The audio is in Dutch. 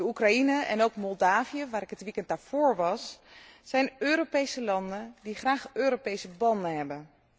Oekraïne, en ook Moldavië, waar ik het weekend daarvoor was, zijn Europese landen die graag Europese banden hebben.